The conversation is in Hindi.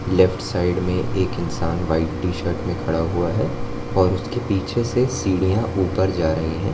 लेफ्ट साइड में एक इंसान व्हाइट टीशर्ट में खड़ा हुआ है और उसके पीछे से सीढ़ियां ऊपर जा रही हैं।